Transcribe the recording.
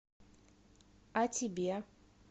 а тебе